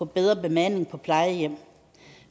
bedre bemanding på plejehjem